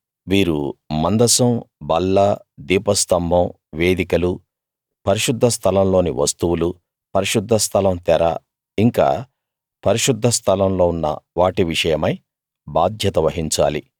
వీరు మందసం బల్ల దీపస్తంభం వేదికలు పరిశుద్ధ స్థలంలోని వస్తువులు పరిశుద్ధస్థలం తెర ఇంకా పరిశుద్ధస్థలంలో ఉన్న వాటి విషయమై బాధ్యత వహించాలి